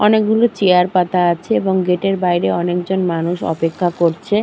অনেক গুলো চেয়ার পাতা আছে এবং গেট -এর বাইরে অনেক জন মানুষ অপেক্ষা করছে ।